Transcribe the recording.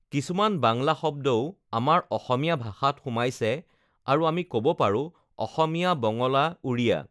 কিছুমান বাংলা শব্দও আমাৰ অসমীয়া ভাষাত সোমাইছে আৰু আমি ক'ব পাৰোঁ অসমীয়া বঙলা উৰিয়া